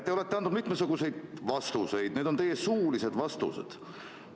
Te olete andnud mitmesuguseid vastuseid, need on olnud teie suulised vastused.